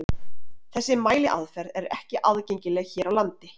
Þessi mæliaðferð er ekki aðgengileg hér á landi.